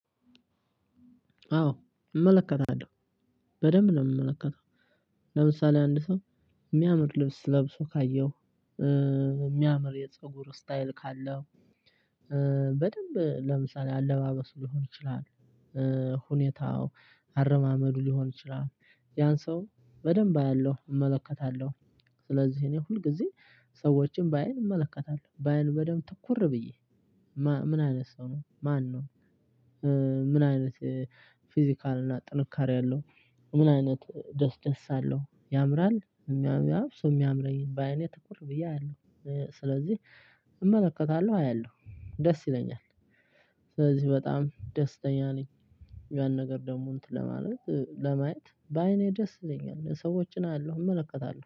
አዎ እመለከታለሁ በደንብ ነው ምመለከተው ለምሳሌ አንድ ሰው ሚያምር ልብስ ለብሶ ካየሁ የሚያምር የፀጉር ስታይል ካለው። በደንብ ለምሳሌ አለባበሱ ሊሆን ይችላል። ሁኔታው አረማመዱ ሊሆን ይችላል ያን ሰው በደንብ አያለሁ እመለከታለሁ። ስለዚህ እኔ ሁልጊዜ ሰዎችን በአይን እመለከታለሁ በአይን በደንብ ትኩር ብዬ ማ ምን አይነት ሰው ነው ማነው? ምን አይነት ፊዚካል እና ጥንካሬ አለው? ምን አይነት ደስ ደስ አለው ያምራል። የሚያምር አብሶ ባይኔ ትኩር ብዬ አያለሁ ስለዚህ እመለከታለሁ አያለሁ ደስ ይለኛል። ስለዚህ በጣም ደስተኛ ነኝ ያን ነገር ደሞ እንትን ለማለት ለማየት በአይኔ ደስ ይለኛል ሰዎችን አያለው እመለከታለው